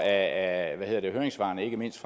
af høringssvarene ikke mindst